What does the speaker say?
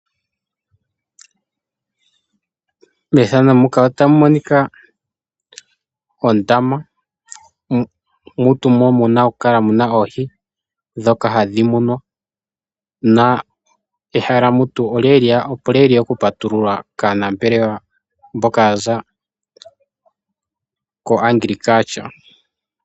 Methano muka otamu monika ondama, mutu mu na okukala mu na oohi ndhoka hadhi munwa na ehala mutu olya li lye ya okupatululwa kaanambelewa mboka ya za koAgriculture.